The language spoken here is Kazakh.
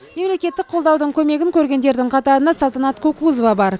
мемлекеттік қолдаудың көмегін көргендердің қатарында салтанат кукузова бар